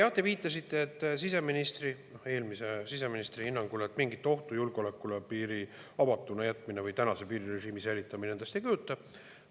Jah, te viitasite, et siseministri, eelmise siseministri hinnangul mingit ohtu julgeolekule piiri avatuks jätmine või tänase piirirežiimi säilitamine endast ei kujuta.